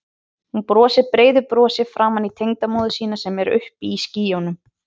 Hún brosir breiðu brosi framan í tengdamóður sína sem er uppi í skýjunum.